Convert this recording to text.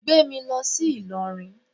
Gbé mi lọ sí Ìlọrin